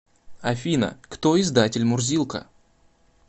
афина кто издатель мурзилка